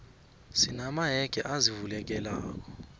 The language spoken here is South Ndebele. sina mayege azivulekelako